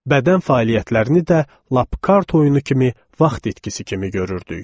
Bədən fəaliyyətlərini də lap kart oyunu kimi vaxt itkisi kimi görürdük.